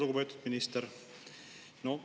Lugupeetud minister!